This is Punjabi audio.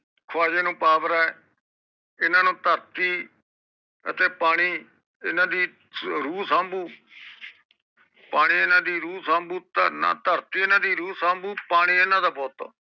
ਖਵਾਜੇ ਨੂੰ ਪਾਵਰਾ ਏ ਇਹਨਾ ਨੂੰ ਧਰਤੀ ਧਰਤੀ ਅਤੇ ਪਾਣੀ ਇਹਨਾ ਦੀ ਰੂਹ ਸੰਬੂ ਪਾਣੀ ਏਨਾ ਦੀ ਰੂਹ ਸੰਬੂ ਧਰਮ ਨਾ ਧਰਤੀ ਹਨ ਦੀ ਰੂਹ ਸੰਬੂ ਪਾਣੀ ਇਹਨਾ ਦਾ ਬੋਤ